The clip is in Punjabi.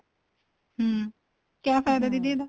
ਹਮ ਕਿਆ ਫਾਇਦਾ ਦੀਦੀ ਇਹਦਾ